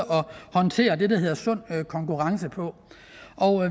håndtere det der hedder sund konkurrence på